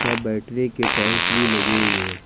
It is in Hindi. यहां बैठने के टाइल्स भी लगे हुए हैं।